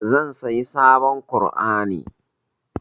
Zan sayi sabon ƙur'ani.